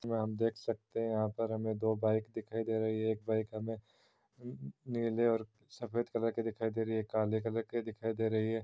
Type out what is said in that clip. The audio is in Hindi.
यहाँ हम देख सकते है यहाँ पर हमे दो बाइक दिखाई दे रही है एक बाइक हमे नीले और सफेद कलर की दिखाई दे रही है काले कलर और की दिखाई दे रही है।